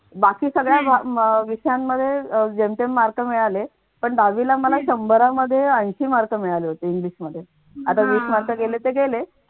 बाकी सगळ्या विषयांमध्ये जेमतेम mark मिळाले पण दहावीला मला शम्भरामध्ये ऐंशी mark मिळाले होते english मध्ये आता वीस mark गेले गेले.